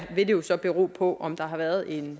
vil det jo så bero på om der har været en